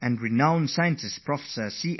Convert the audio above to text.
He has emphasized the virtue of patience